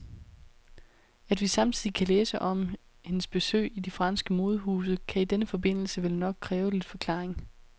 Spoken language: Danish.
At vi samtidig kan læse om hendes besøg i de franske modehuse, kan i denne forbindelse vel nok kræve lidt forklaring.